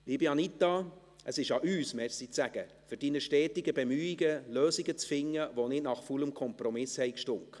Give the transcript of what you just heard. Liebe Anita Luginbühl, es ist an uns, Merci zu sagen für Ihre stetigen Bemühungen, Lösungen zu finden, die nicht nach faulem Kompromiss stanken.